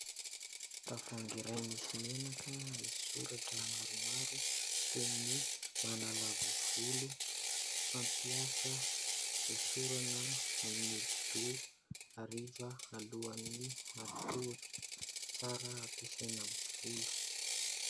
Tavohangy iray misy menaka misy soratra maromaro toy ny : <<manalava volo, fampiasa, hosorana amin'ny odi-doha hariva alohan'ny hatory>>, tsara hampesaina amin'ny volo.